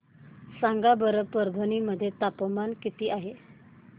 सांगा बरं परभणी मध्ये तापमान किती आहे